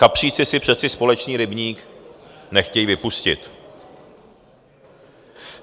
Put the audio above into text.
Kapříci si přece společný rybník nechtějí vypustit.